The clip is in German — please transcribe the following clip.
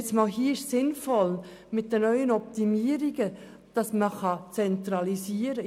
Hier ist es sinnvoll, mit neuen Optimierungen zu zentralisieren.